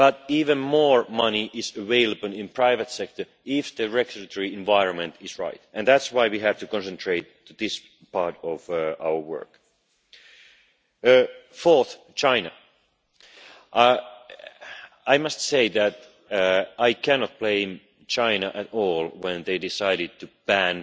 But even more money is available in private sector if the regulatory environment is right, and that's why we have to concentrate on this part of our work. Fourthly, on China. I must say that I could not blame China at all when they decided to